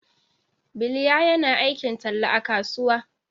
Biliya yana aikin talla a kasuwa.